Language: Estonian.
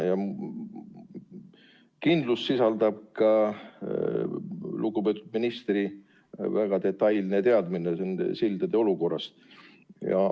Kindlust lisab ka lugupeetud ministri väga detailne teadmine nende sildade olukorrast.